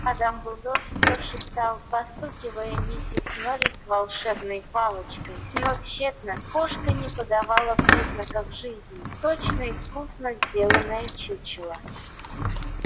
а дамблдор все шептал постукивая миссис норрис волшебной палочкой но тщетно кошка не подавала признаков жизни точно искусно сделанное чучело